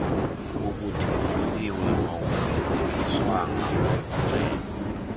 obuthenjisiwe awufezekiswanga makucelwe